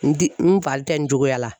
N di n fari tɛ n cogoya la.